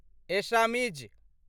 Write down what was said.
Assamese